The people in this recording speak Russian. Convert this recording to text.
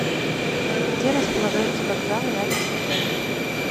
где располагаются вокзалы рядом с отелем